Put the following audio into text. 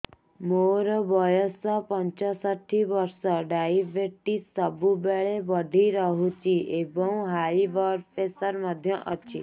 ମୋର ବୟସ ପଞ୍ଚଷଠି ବର୍ଷ ଡାଏବେଟିସ ସବୁବେଳେ ବଢି ରହୁଛି ଏବଂ ହାଇ ବ୍ଲଡ଼ ପ୍ରେସର ମଧ୍ୟ ଅଛି